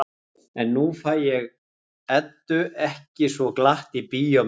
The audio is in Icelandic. En nú fæ ég Eddu ekki svo glatt í bíó með mér.